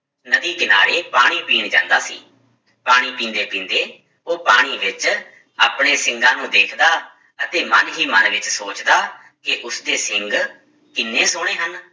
ਨਦੀ ਕਿਨਾਰੇ ਪਾਣੀ ਪੀਣ ਜਾਂਦਾ ਸੀ, ਪਾਣੀ ਪੀਂਦੇ ਪੀਂਦੇ ਉਹ ਪਾਣੀ ਵਿੱਚ ਆਪਣੇ ਸਿੰਗਾਂ ਨੂੰ ਵੇਖਦਾ ਅਤੇ ਮਨ ਹੀ ਮਨ ਵਿੱਚ ਸੋਚਦਾ ਕਿ ਉਸਦੇ ਸਿੰਘ ਕਿੰਨੇ ਸੋਹਣੇ ਹਨ।